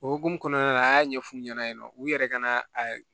O hokumu kɔnɔna la an y'a ɲɛfu ɲɛna yen nɔ u yɛrɛ ka na a